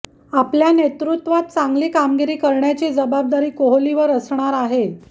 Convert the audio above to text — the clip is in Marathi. आपल्या नेतृत्वात चांगली कामगिरी करण्याची जबाबदारी कोहलीवर असणार आहे